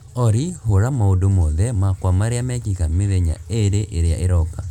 Olly hũra maũndũ mothe makwa marĩa mekĩka mĩthenya ĩĩrĩ ĩrĩa ĩroka